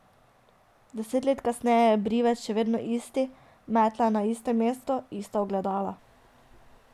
Deset let kasneje je brivec še vedno isti, metla je na istem mestu, ista ogledala.